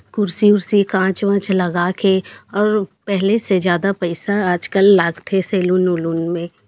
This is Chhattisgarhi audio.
कुर्सी उरसी कांच वाच लगा के और पहले से ज्यादा पईसा लागथे आजकल सेलून उलून मे--